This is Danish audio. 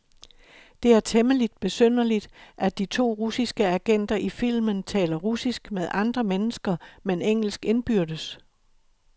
Det er temmeligt besynderligt, at de to russiske agenter i filmen taler russisk med andre mennesker, men engelsk indbyrdes.